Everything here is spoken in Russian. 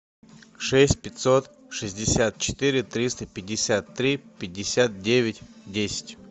шесть пятьсот шестьдесят четыре триста пятьдесят три пятьдесят девять десять